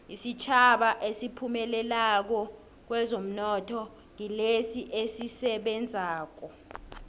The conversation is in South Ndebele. isitjhaba esiphumelelako kwezomnotho ngilesi esisebenzako